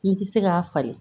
N ti se k'a falen